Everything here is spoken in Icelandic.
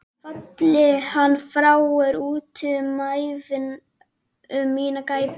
Falli hann frá er úti um mína gæfu.